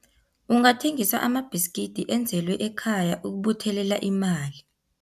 Ungathengisa amabhiskidi enzelwe ekhaya ukubuthelela imali.